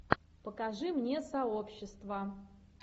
покажи мне сообщество